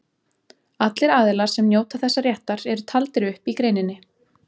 Allir aðilar sem njóta þessa réttar eru taldir upp í greininni.